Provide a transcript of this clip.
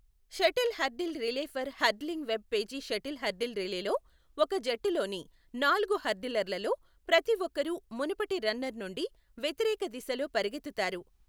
Shuttle hurdle relay per hurdling web page shuttle hurdle రిలేలో, ఒక జట్టులోని నాలుగు హర్డిలర్లలో ప్రతి ఒక్కరూ మునుపటి రన్నర్ నుండి వ్యతిరేక దిశలో పరుగెత్తుతారు.